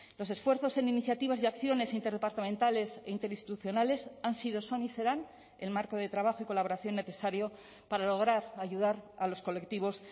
los esfuerzos en iniciativas y acciones interdepartamentales e interinstitucionales han sido son y serán el marco de trabajo y colaboración necesario para lograr ayudar a los colectivos